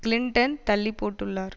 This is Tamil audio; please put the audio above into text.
கிளின்டன் தள்ளி போட்டுள்ளார்